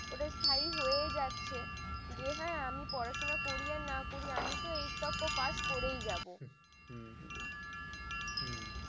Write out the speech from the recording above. ওটা স্থায়ী হয়ে যাচ্ছে যে হ্যাঁ আমি পড়াশোনা করিয়া না করি আমি এর তক্ক পাশ করে যাব হম